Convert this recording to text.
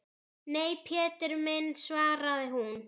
Nei, Pétur minn svaraði hún.